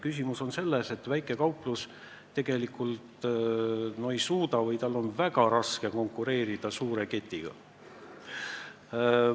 Küsimus on selles, et väikekauplus tegelikult ei suuda või tal on väga raske konkureerida suure ketiga.